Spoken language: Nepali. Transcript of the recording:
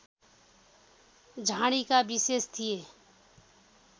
झाडीका विशेष थिए